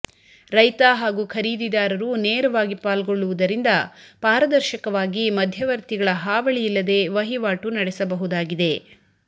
ರೈತ ಹಾಗೂ ಖರೀದಿದಾರರು ನೇರವಾಗಿ ಪಾಲ್ಗೊಳ್ಳುವುದರಿಂದ ಪಾರದರ್ಶಕವಾಗಿ ಮಧ್ಯವರ್ತಿಗಳ ಹಾವಳಿಯಿಲ್ಲದೇ ವಹಿವಾಟು ನಡೆಸಬಹುದಾಗಿದೆ